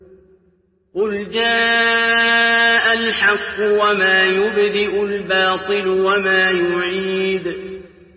قُلْ جَاءَ الْحَقُّ وَمَا يُبْدِئُ الْبَاطِلُ وَمَا يُعِيدُ